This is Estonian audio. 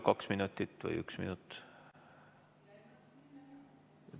Kaks minutit või üks minut?